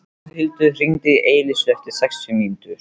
Pálhildur, hringdu í Elísu eftir sextíu mínútur.